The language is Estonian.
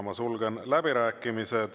Ma sulgen läbirääkimised.